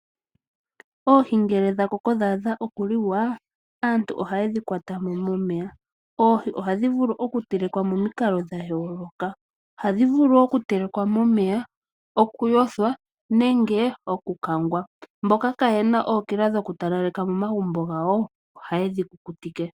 Oohi ngele dha koko dha adha okuliwa aantu ohaye dhi kwata mo momeya ,oohi ohadhi vulu okutelekwa momikalo dha yooloka ohadhi vulu okutelekwa momeya ,okuyothwa nenge okukangwa mboka kayena ookila dhoku talaleka momagumbo gawo ohaye dhi kukutike.